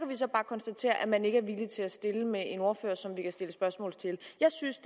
vi så bare konstatere at man ikke er villig til at stille med en ordfører som vi kan stille spørgsmål til jeg synes